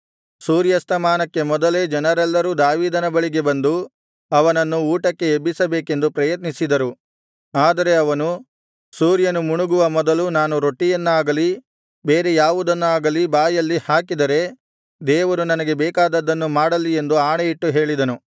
ಸೂರ್ಯಸ್ತಮಾನಕ್ಕೆ ಮೊದಲೇ ಜನರೆಲ್ಲರೂ ದಾವೀದನ ಬಳಿಗೆ ಬಂದು ಅವನನ್ನು ಊಟಕ್ಕೆ ಎಬ್ಬಿಸಬೇಕೆಂದು ಪ್ರಯತ್ನಿಸಿದರು ಆದರೆ ಅವನು ಸೂರ್ಯನು ಮುಣುಗುವ ಮೊದಲು ನಾನು ರೊಟ್ಟಿಯನ್ನಾಗಲಿ ಬೇರೆ ಯಾವುದನ್ನಾಗಲಿ ಬಾಯಲ್ಲಿ ಹಾಕಿದರೆ ದೇವರು ನನಗೆ ಬೇಕಾದದ್ದನ್ನು ಮಾಡಲಿ ಎಂದು ಆಣೆಯಿಟ್ಟು ಹೇಳಿದನು